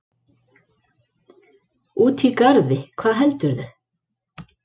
Úti í garði, hvað heldurðu!